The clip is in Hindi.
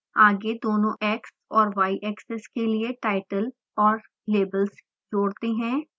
आगे दोनों x और y axes के लिए title औऱ labels जोड़ते हैं